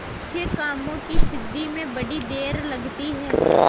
अच्छे कामों की सिद्धि में बड़ी देर लगती है